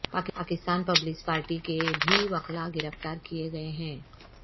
پاکستان پیپلز پارٹی کے بھی وکلاء گرفتار کیے گئے ہیں